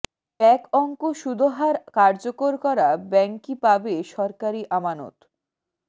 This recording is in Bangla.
এক অঙ্ক সুদহার কার্যকর করা ব্যাংকই পাবে সরকারি আমানত